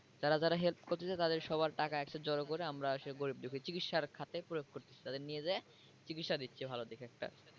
যারা যারা help করতেছে তাদের সবার টাকা একসাথে জড়ো করে আমরা গরিব দুঃখীর চিকিৎসার খাতে প্রয়োগ করতেছি তাদের নিয়ে যেয়ে চিকিৎসা দিচ্ছে ভালো দেখে একটা।